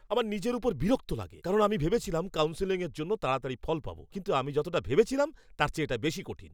আমার নিজের ওপর বিরক্ত লাগে, কারণ আমি ভেবেছিলাম কাউন্সেলিংয়ের জন্য তাড়াতাড়ি ফল পাবো কিন্তু আমি যতটা ভেবেছিলাম তার চেয়ে এটা বেশি কঠিন।